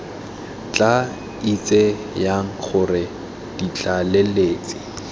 tla itse jang gore ditlaleletsi